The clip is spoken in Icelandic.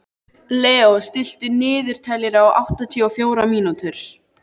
Leó, stilltu niðurteljara á áttatíu og fjórar mínútur.